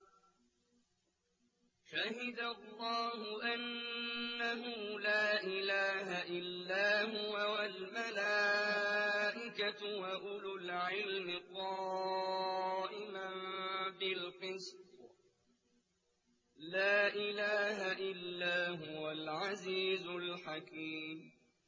شَهِدَ اللَّهُ أَنَّهُ لَا إِلَٰهَ إِلَّا هُوَ وَالْمَلَائِكَةُ وَأُولُو الْعِلْمِ قَائِمًا بِالْقِسْطِ ۚ لَا إِلَٰهَ إِلَّا هُوَ الْعَزِيزُ الْحَكِيمُ